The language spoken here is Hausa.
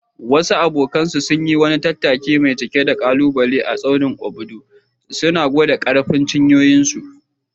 Wasu abokanansu suka yi wani tattaki mai cike da ƙalubale a tsaunin Obudu, suna gwada ƙarfin cinyoyinsu.